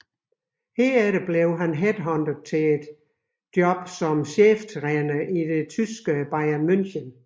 Herefter blev han headhuntet til jobbet som cheftræner i tyske Bayern München